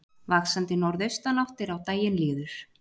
Vaxandi norðaustanátt er á daginn líður